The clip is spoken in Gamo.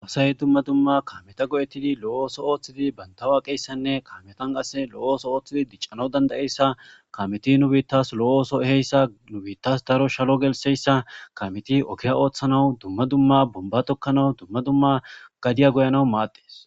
Doosay dumma dumma kaameta go'ettidi lo'ooso ooththidi bantawa qeeyssanne kaametan qasse lo'ooso ooththidi diccano danda'eyssa kameti nu biittas lo'ooso eheyssa nubiittas daro shalo gelseyssa kameti okiya ooththanawu dumma dumma bomba tokkanau dumma dumma gadiya goyanawu maaddes.